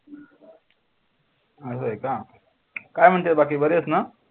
असा आहे का. काय म्हणते बाकी बर आहेस ना?